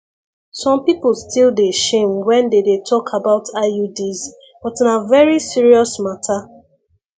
some people still dey shame when when they dey talk about iuds but na very serious matter